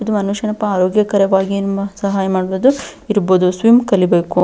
ಇದು ಮನುಷ್ಯನ ಪಾ ಆರೋಗ್ಯಕರವಾಗಿ ನಿಮ್ಮ ಸಹಾಯ ಮಾಡಬಹುದು ಇರಬಹುದು ಸ್ವಿಮ್ ಕಲಿಬೇಕು.